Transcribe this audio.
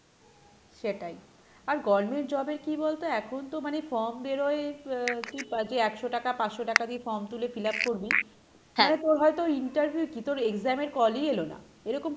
সেটাই আর government job এর কী বলতো এখন তো মানে form বেরোয় আহ একশো টাকা পাঁচশো টাকা দিয়ে form তুলে fill up করবি মানে তোর হয়তো interview কী তোর exam এর call ই এলো না, এরকম,